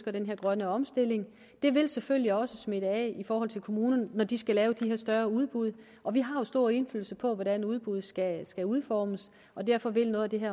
er den her grønne omstilling det vil selvfølgelig også smitte af i forhold til kommunerne når de skal lave de her større udbud og vi har jo stor indflydelse på hvordan udbuddet skal skal udformes og derfor vil noget af det